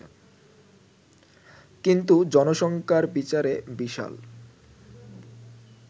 কিন্তু জনসংখ্যার বিচারে বিশাল